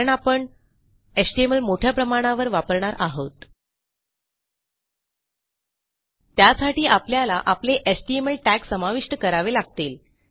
कारण आपण एचटीएमएलमोठ्या प्रमाणावर वापरणार आहोत त्यासाठी आपल्याला आपले एचटीएमएल टॅग समाविष्ट करावे लागतील